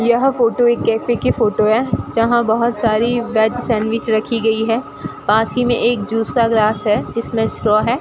यह फोटो एक कैफे की फोटो है जहां बहोत सारी वेज सैंडविच रखी गई है पास ही में एक जूस का ग्लास है जिसमें स्ट्रा है।